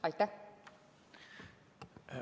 Aitäh!